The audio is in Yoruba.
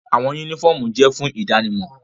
Awọn unifọmú jẹ fun idanimọ